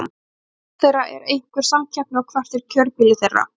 Hver er stofn þeirra, er einhver samkeppni og hvert er kjörbýli þeirra?